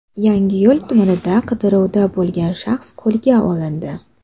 Yangiyo‘l tumanida qidiruvda bo‘lgan shaxs qo‘lga olindi.